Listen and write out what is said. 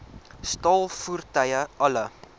staal voertuie alle